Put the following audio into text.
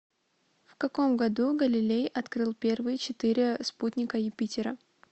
в каком году галилей открыл первые четыре спутника юпитера